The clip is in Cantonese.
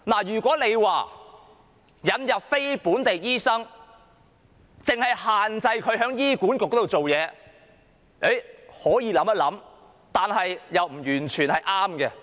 如果引入非本地醫生，但只限制他們在醫管局之下工作，這是可以考慮一下的。